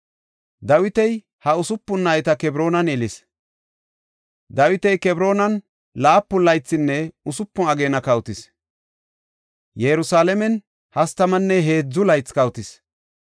Dawiti ha usupun nayta Kebroonan yelis. Dawiti Kebroonan laapun laythinne usupun ageena kawotis. Yerusalaamen hastamanne heedzu laythi kawotis.